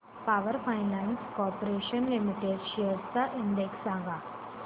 power finance corporation limited shares चा index सांगा